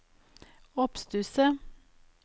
oppstusset